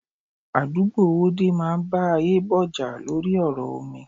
Àdúgbò Owódé máa bá Ayebo jà lórí ọ̀rọ̀ omi.